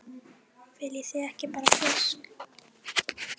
Viljið þið ekki bara fisk!